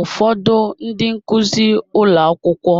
Ụfọdụ ndị nkuzi ụlọ akwụkwọ